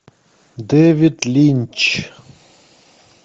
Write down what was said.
дэвид линч